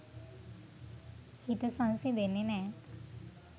හිත සංසිඳෙන්නෙ නෑ.